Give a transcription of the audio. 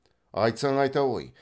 айтсаң айта ғой